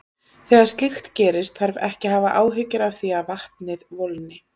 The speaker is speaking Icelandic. Þegar slíkt gerist þarf ekki að hafa áhyggjur af því að vatnið volgni.